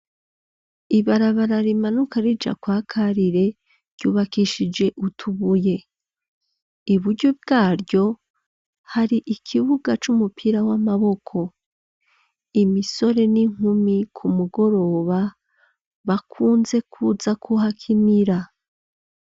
Ibarabara rimanuka rija kwa Karire ryubakishije utubuye. Iburyo bwaryo hari ikibuga c'umupira w'amaboko .Imisore n'inkumi ku mugoroba bakunze kuza kuhakinira.